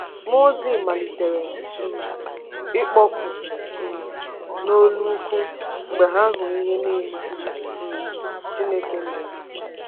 Mụọ ozi “malitere um ịkpọku um n’olu ukwu” mgbe ha hụrụ ihe niile um Chineke mere.